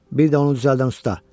Bir də onu düzəldən usta.